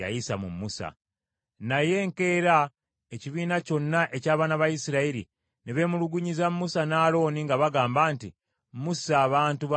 Naye enkeera ekibiina kyonna eby’abaana ba Isirayiri ne beemulugunyiza Musa ne Alooni, nga bagamba nti, “Musse abantu ba Mukama Katonda.”